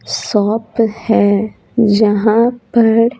shop है जहाँ पर--